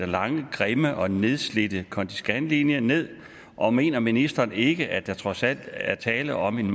lange grimme og nedslidte konti skan linje ned og mener ministeren ikke at der trods alt er tale om en